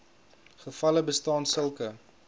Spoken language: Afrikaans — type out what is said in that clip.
gevalle bestaan sulke